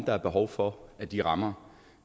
der er behov for at de rammer